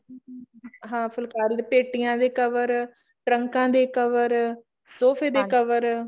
ਹਾਂ ਫੁਲਕਾਰੀ ਪੇਟੀਆਂ ਦੇ cover ਟਰੰਕਾ ਦੇ cover ਸੋਫੇ ਦੇ cover